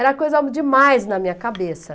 Era coisa demais na minha cabeça.